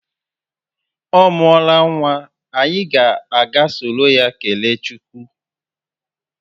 Ọ muola nwa, anyị ga aga soro ya kelee chukwu